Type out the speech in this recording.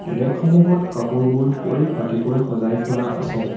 Rack সমূহত কাপোৰবোৰ পৰিপাতিকৈ সজাই থোৱা আছে।